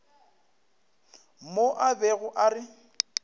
mo a bego a re